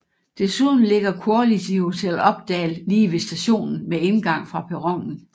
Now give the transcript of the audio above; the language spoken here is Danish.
Desuden ligger Quality Hotell Oppdal lige ved stationen med indgang fra perronen